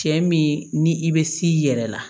Cɛ min ni i bɛ s'i yɛrɛ la